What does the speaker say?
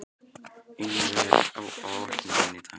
Einara, hvað er á áætluninni minni í dag?